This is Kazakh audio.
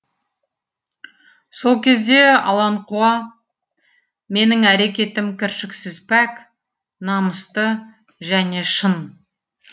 сол кезде аланқуа менің әрекетім кіршіксіз пәк намысты және шын